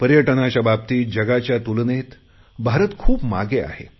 पर्यटनाच्या बाबतीत जगाच्या तुलनेत भारत खूप मागे आहे